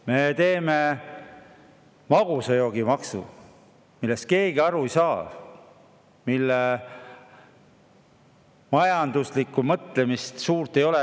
Me teeme magusa joogi maksu, millest keegi aru ei saa ja millel majanduslikku mõtet suurt ei ole.